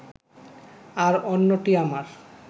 আর অন্যটি আমার